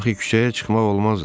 Axı küçəyə çıxmaq olmazdı.